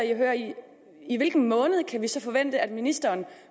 i at høre i hvilken måned kan vi så forvente at ministeren